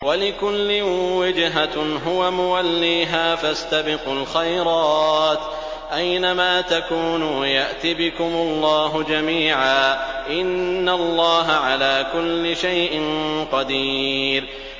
وَلِكُلٍّ وِجْهَةٌ هُوَ مُوَلِّيهَا ۖ فَاسْتَبِقُوا الْخَيْرَاتِ ۚ أَيْنَ مَا تَكُونُوا يَأْتِ بِكُمُ اللَّهُ جَمِيعًا ۚ إِنَّ اللَّهَ عَلَىٰ كُلِّ شَيْءٍ قَدِيرٌ